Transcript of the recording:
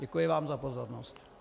Děkuji vám za pozornost.